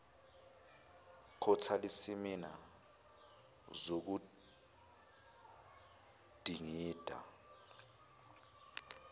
quarterly seminar zokudingida